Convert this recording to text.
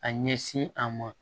A ɲɛsin a ma